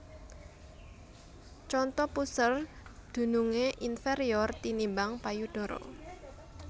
Conto Puser dunungé inferior tinimbang payudara